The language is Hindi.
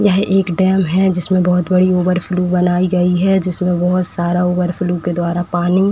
यह एक डैम है। जिसमें बहुत बड़ी ओवरफ्लो बनाई गई है। जिसमें बहुत सारा ओवरफ्लो के द्वारा पानी --